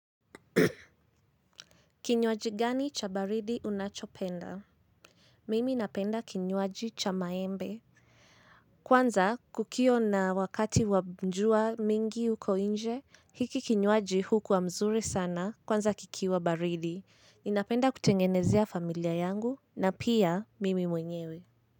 Kinywaji gani cha baridi unachopenda? Mimi napenda kinywaji cha maembe. Kwanza kukiwa na wakati wa jua mingi huko nje, hiki kinywaji hukuwa mzuri sana kwanza kikiwa baridi. Ninapenda kutengenezea familia yangu na pia mimi mwenyewe.